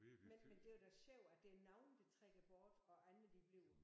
Men men det var da sjovt at der er nogle der trækker bort og andre de bliver